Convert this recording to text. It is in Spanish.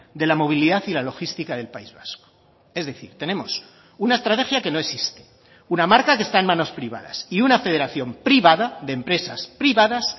de la movilidad y la logística del país vasco es decir tenemos una estrategia que no existe una marca que está en manos privadas y una federación privada de empresas privadas